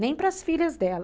Nem para as filhas dela.